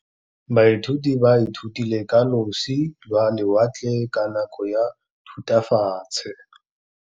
Baithuti ba ithutile ka losi lwa lewatle ka nako ya Thutafatshe.